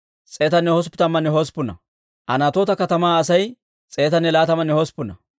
Raamanne Gebaa'a katamatuwaa Asay 621.